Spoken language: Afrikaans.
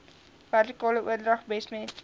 vertikale oordrag besmet